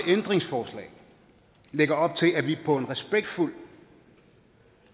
ændringsforslag lægger op til at vi på en respektfuld